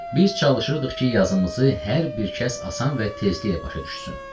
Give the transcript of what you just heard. Biz çalışırdıq ki, yazımızı hər bir kəs asan və tezliklə başa düşsün.